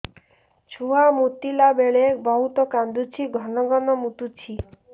ଛୁଆ ମୁତିଲା ବେଳେ ବହୁତ କାନ୍ଦୁଛି ଘନ ଘନ ମୁତୁଛି